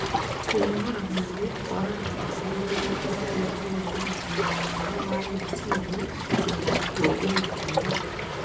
Kũnogora mwĩrĩ kwa andũ akũrũ nĩ gũteithagia kũgĩa na ũgima mwega wa meciria na gũtũũria gĩkeno.